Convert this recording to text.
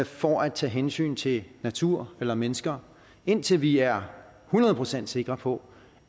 for at tage hensyn til natur eller mennesker indtil vi er hundrede procent sikre på